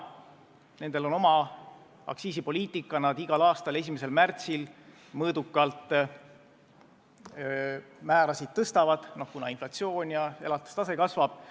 Nendel on oma aktsiisipoliitika: nad igal aastal 1. märtsil mõõdukalt tõstavad määrasid, kuna inflatsioon ja elatustase tõusevad.